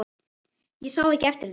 Ég sá ekki eftir því.